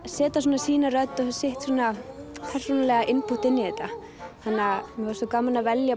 setja svona sína rödd og sitt svona persónulega inpútt inn í þetta þannig að okkur fannst svo gaman að velja